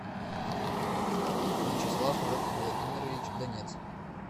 вячеслав владимирович донец